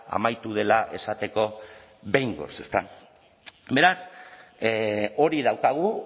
amaitu dela esateko behingoz ezta beraz hori daukagu